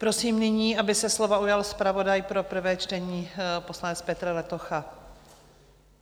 Prosím nyní, aby se slova ujal zpravodaj pro prvé čtení, poslanec Petr Letocha.